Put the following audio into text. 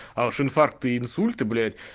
а уж инфаркты и инсульты блять